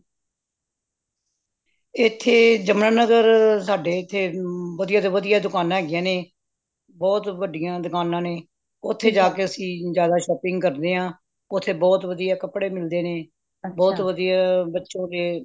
ਇਹਥੇ ਜਮੁਨਾਨਾਗਰ ਸਾਡੇ ਇਹਥੇ ਵਧੀਆ ਤੋਂ ਵਧੀਆ ਦੁਕਾਨਾਂ ਹੈਗੀਆਂ ਨੇ ਬਹੁਤ ਵੱਡੀਆਂ ਦੁਕਾਨਾਂ ਨੇ ਓਥੇ ਜਾ ਕ ਅੱਸੀ ਜ਼ਯਾਦਾ shopping ਕਰਨੇ ਆ ਓਥੇ ਬਹੁਤ ਵਧੀਆ ਕਪੜੇ ਮਿਲਦੇ ਨੇ ਬਹੁਤ ਵਧੀਆ ਬੱਚੋ ਕੇ